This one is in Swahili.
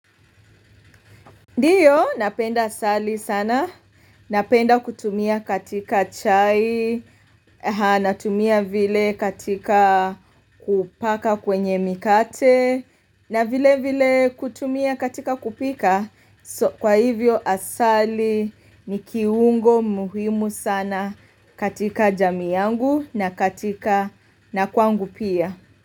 Ndio napenda asali sana, napenda kutumia katika chai, natumia vile katika kupaka kwenye mikate, na vile vile kutumia katika kupika, so kwa hivyo asali ni kiungo muhimu sana katika jamii yangu na katika na kwangu pia.